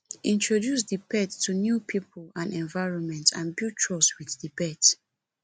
introduce di pet to new pipo and environment and build trust with di pet